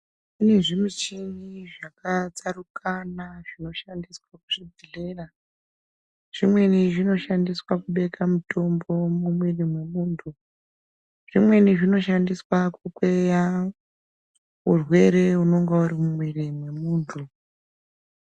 Kune zvimuchini zvakatsaukana zvinoshandiswa kuzvibhehlera zvimweni zvinoshandiswa kubeke mutombo mumwiri mwemuntu zvimweni zvinoshandiswa kukweya urwere unenga uri mumwiri mwemuntu.